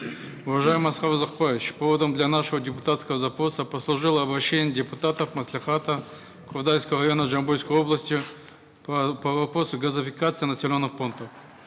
уважаемый аскар узакбаевич поводом для нашего депутатского запроса послужило обращение депутатов маслихата кордайского района жамбылской области по вопросу газификации населенных пунктов